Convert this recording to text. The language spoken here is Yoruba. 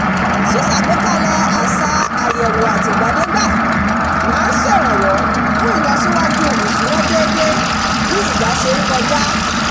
ṣíṣàgbékalẹ̀ àṣà àyẹ̀wò àtìgbàdégbà máa ń ṣèrànwọ́ fún ìlọsíwájú ìṣúná déédé bí ìgbà ṣe ń kọjá